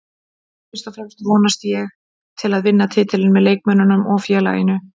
Fyrst og fremst vonast ég til að vinna titilinn með leikmönnunum og félaginu